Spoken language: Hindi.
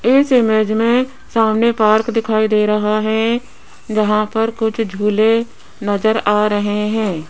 इस इमेज में सामने पार्क दिखाई दे रहा है जहां पर कुछ झूले नजर आ रहे हैं।